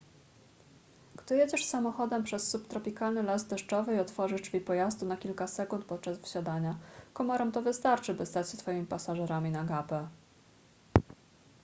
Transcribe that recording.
gdy jedziesz samochodem przez subtropikalny las deszczowy i otworzysz drzwi pojazdu na kilka sekund podczas wsiadania komarom to wystarczy by stać się twoimi pasażerami na gapę